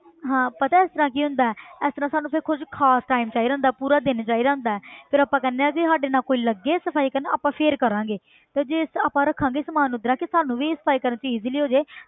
ਹਾਂ ਪਤਾ ਹੈ ਇਸ ਤਰ੍ਹਾਂ ਕੀ ਹੁੰਦਾ ਹੈ ਇਸ ਤਰ੍ਹਾਂ ਸਾਨੂੰ ਫਿਰ ਕੁੱਝ ਖ਼ਾਸ time ਚਾਹੀਦਾ ਹੁੰਦਾ ਪੂਰਾ ਦਿਨ ਚਾਹੀਦਾ ਹੁੰਦਾ ਹੈ ਫਿਰ ਆਪਾਂ ਕਹਿੰਦੇ ਹਾਂ ਕਿ ਸਾਡੇ ਨਾਲ ਕੋਈ ਲੱਗੇ ਸਫ਼ਾਈ ਕਰਨ ਆਪਾਂ ਫਿਰ ਕਰਾਂਗੇ ਤੇ ਜੇ ਆਪਾਂ ਰੱਖਾਂਗੇ ਸਮਾਨ ਉਸ ਤਰ੍ਹਾਂ ਕਿ ਸਾਨੂੰ ਵੀ ਸਫ਼ਾਈ ਕਰਨ 'ਚ easily ਹੋ ਜਾਏ